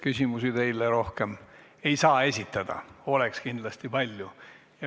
Küsimusi teile rohkem ei saa esitada, kuigi kindlasti oleks neid palju.